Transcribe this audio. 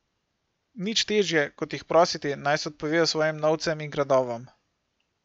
Nič težje, kot jih prositi, naj se odpovejo svojim novcem in gradovom.